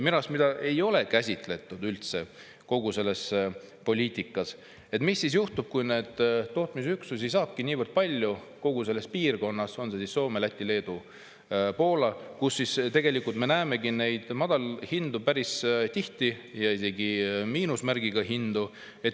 Mida minu arust ei ole üldse käsitletud kogu selles poliitikas, on see, mis juhtub siis, kui tootmisüksusi tulebki niivõrd palju kogu selles piirkonnas – see on siis Soome, Läti, Leedu, Poola –, et tegelikult me näeme madalhindu päris tihti ja isegi miinusmärgiga hindu.